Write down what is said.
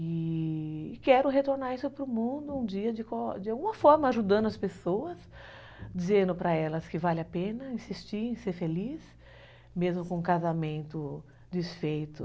E quero retornar isso para o mundo um dia, de alguma forma, ajudando as pessoas, dizendo para elas que vale a pena insistir em ser feliz, mesmo com um casamento desfeito.